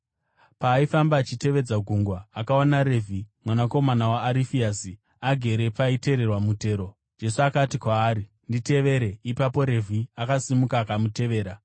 Paaifamba achitevedza gungwa, akaona Revhi mwanakomana waArifeasi agere paitererwa mutero. Jesu akati kwaari, “Nditevere,” ipapo Revhi akasimuka akamutevera.